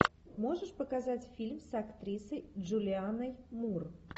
можешь показать фильм с актрисой джулианной мур